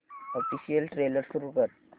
official trailer सुरू कर